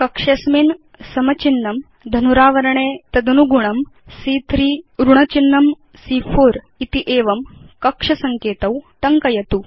अधुना अस्मिन् कक्षे समचिह्नं इस् इक्वल तो धनुरावरणे तदनुगुणं सी॰॰3 न्यूनं सी॰॰4 सी॰॰3 मिनस् सी॰॰4 इति कक्ष सङ्केतौ च टङ्कयतु